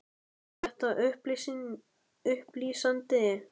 Var þetta upplýsandi?